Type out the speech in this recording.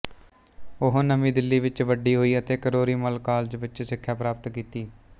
ਉਹ ਨਵੀਂ ਦਿੱਲੀ ਵਿੱਚ ਵੱਡੀ ਹੋਈ ਅਤੇ ਕਿਰੋਰੀ ਮਲ ਕਾਲਜ ਵਿੱਚ ਸਿੱਖਿਆ ਪ੍ਰਾਪਤ ਕੀਤੀ